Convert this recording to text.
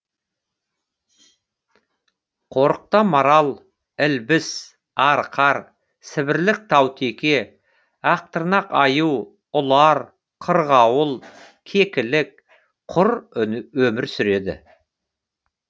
қорықта марал ілбіс арқар сібірлік таутеке ақтырнақ аю ұлар қырғауыл кекілік құр өмір сүреді